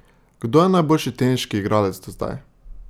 Kdo je najboljši teniški igralec do zdaj?